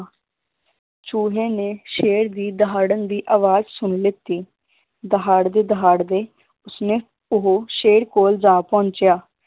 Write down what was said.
ਚੂਹੇ ਨੇ ਸ਼ੇਰ ਦੀ ਦਹਾੜਨ ਦੀ ਅਵਾਜ ਸੁਣਨ ਲਿੱਤੀ ਦਹਾਦੜੇ ਦਹਾਦੜੇ ਉਸਨੇ ਉਹ ਸ਼ੇਰ ਕੋਲ ਜਾ ਪਹੁੰਚਿਆ।